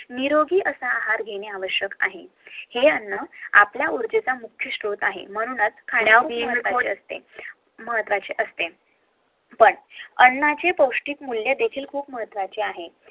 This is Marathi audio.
निरोगी असा आहार घेणे आवश्यक आहे निरोगी अन्न आपल्या ऊर्जेचा मुख्य श्रोत आहे म्हणून खने महत्वाचे असते पण अन्नाचे पोष्टिक मूल्य देखील खूप महत्वाचे आहे